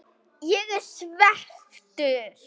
Ég ég svekktur?